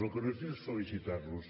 el que no he fet és felicitar los